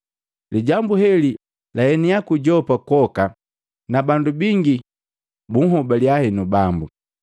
Lijambu heli laenia ku Yopa kwoka na bandu bingi bunhobalya henu Bambu.